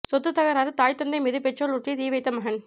சொத்து தகறாறு தாய் தந்தை மீது பெட்ரோல் ஊற்றி தீ வைத்த மகன்